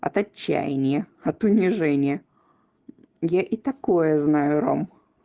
от отчаяния от унижения я и такое знаю рома